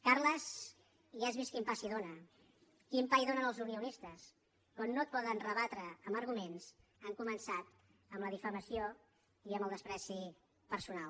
carles ja has vist quin pa s’hi dóna quin pa hi donen els unionistes quan no et poden rebatre amb arguments han començat amb la difamació i amb el menyspreu personal